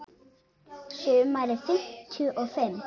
Sumarið fimmtíu og fimm.